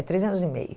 É três anos e meio.